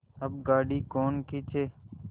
अब गाड़ी कौन खींचे